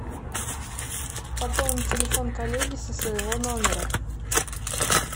пополнить телефон коллеги со своего номера